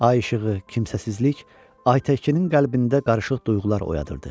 Ay işığı, kimsəsizlik Ay Təkinin qəlbində qarışıq duyğular oyadırdı.